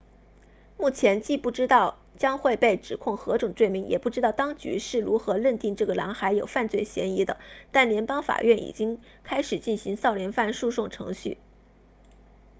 目前既不知道将会被指控何种罪名也不知道当局是如何认定这个男孩有犯罪嫌疑的但联邦法院已经开始进行少年犯诉讼程序